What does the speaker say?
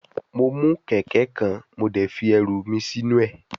Mo mu keke kan mo de fi eru mi sinu e